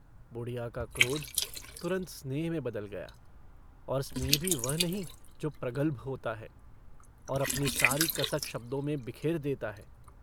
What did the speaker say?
बुढ़िया का क्रोध तुरन्त स्नेह में बदल गया और स्नेह भी वह नहीं जो प्रगल्भ होता है और अपनी सारी कसक शब्दों में बिखेर देता है।